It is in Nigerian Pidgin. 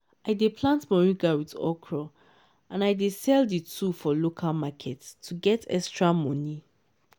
i dey plant moringa with okra and i dey sell the two for local market to get extra money.